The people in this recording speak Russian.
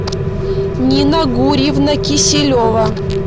нина гурьевна киселева